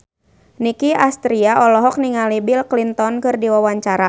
Nicky Astria olohok ningali Bill Clinton keur diwawancara